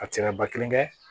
A tɛ se ka ba kelen kɛ